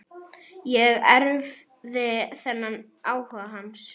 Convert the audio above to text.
Ég erfði þennan áhuga hans.